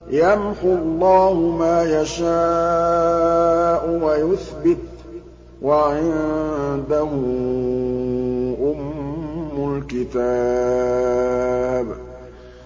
يَمْحُو اللَّهُ مَا يَشَاءُ وَيُثْبِتُ ۖ وَعِندَهُ أُمُّ الْكِتَابِ